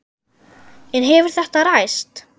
En hefur þetta ræst?